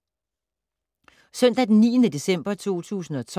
Søndag d. 9. december 2012